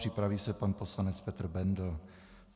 Připraví se pan poslanec Petr Bendl.